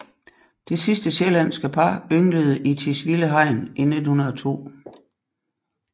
Det sidste sjællandske par ynglede i Tisvilde Hegn i 1902